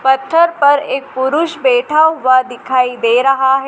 पत्थर पर एक पुरुष बैठा हुआ दिखाई दे रहा ह--